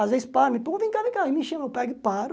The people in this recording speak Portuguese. Às vezes para, me põe, vem cá, vem cá, me chama, eu pego e paro.